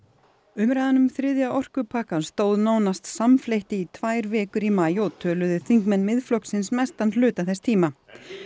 umræðan um þriðja orkupakkann stóð nánast samfleytt í tvær vikur í maí og töluðu þingmenn Miðflokksins mestan hluta þess tíma